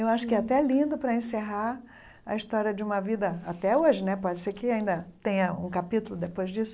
Eu acho que é até lindo para encerrar a história de uma vida, até hoje né, pode ser que ainda tenha um capítulo depois disso,